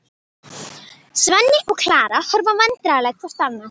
Svenni og Klara horfa vandræðaleg hvort á annað.